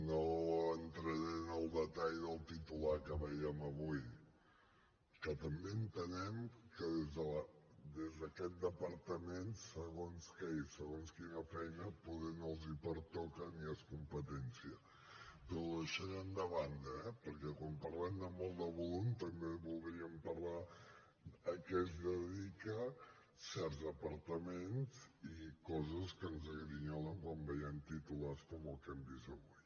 no entraré en el detall del titular que veiem avui que també entenem que des d’aquest departament segons què i segons quina feina poder no els pertoca ni és competència però ho deixarem de banda eh perquè quan parlem de molt de volum també voldríem parlar de a què es dedica certs departaments i coses que ens grinyolen quan veiem titulars com el que hem vist avui